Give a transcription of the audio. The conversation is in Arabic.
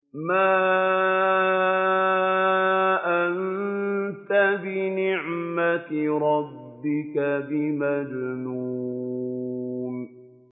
مَا أَنتَ بِنِعْمَةِ رَبِّكَ بِمَجْنُونٍ